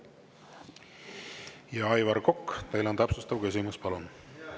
Aivar Kokk, teil on täpsustav küsimus, palun!